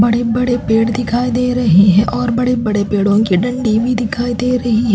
बड़े बड़े पेड़ दिखाई दे रहे हैं और बड़े -बड़े पेड़ों की डंडी भी दिखाई दे रही है।